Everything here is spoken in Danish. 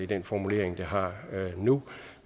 den formulering det har nu